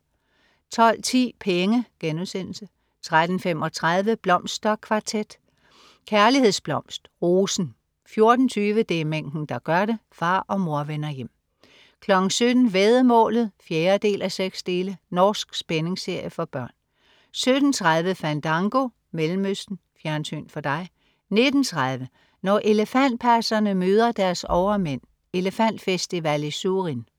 12.10 Penge* 13.35 Blomsterkvartet. Kærlighedsblomst: Rosen 14.20 Det er mængden, der gør det. Far og mor vender hjem 17.00 Væddemålet 4:6. Norsk spændingsserie for børn 17.30 Fandango, Mellemøsten. Fjernsyn for dig 19.30 Når elefantpasserne møder deres overmænd. Elefantfestival i Surin